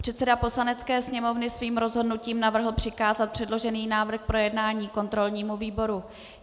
Předseda Poslanecké sněmovny svým rozhodnutím navrhl přikázat předložený návrh k projednání kontrolnímu výboru.